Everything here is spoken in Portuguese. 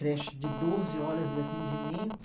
Creche de doze horas de atendimento,